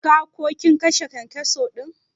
Ka/ kin kashe kyankyaso din?